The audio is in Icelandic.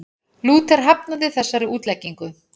Lúther hafnaði þessari útleggingu.